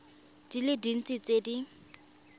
di le dintsi tse di